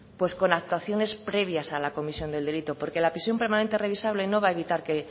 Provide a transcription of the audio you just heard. pues con actuaciones previas a la comisión del delito porque la prisión permanente revisable no va a evitar que